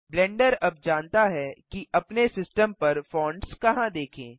blender अब जानता है कि अपने सिस्टम पर फॉन्ट्स कहाँ देखें